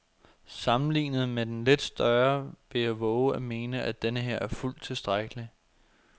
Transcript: Sammenlignet med den lidt større vil jeg vove at mene, at denneher er fuldt tilstrækkelig.